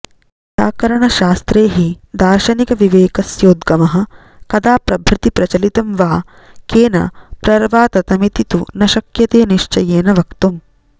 व्याकरणशास्त्रे हि दार्शनिकविवेकस्योद्गमः कदा प्रभृति प्रचलितं वा केन प्रर्वाततमिति तु न शक्यते निश्चयेन वक्तम्